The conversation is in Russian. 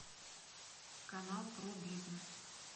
канал про бизнес